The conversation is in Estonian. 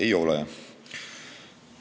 Ei ole nii.